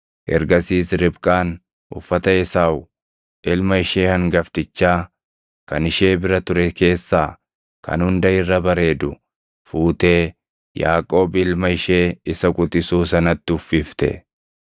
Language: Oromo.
Ergasiis Ribqaan uffata Esaaw ilma ishee hangaftichaa kan ishee bira ture keessaa kan hunda irra bareedu fuutee Yaaqoob ilma ishee isa quxisuu sanatti uffifte.